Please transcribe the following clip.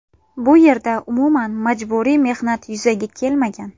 Bu yerda umuman majburiy mehnat yuzaga kelmagan.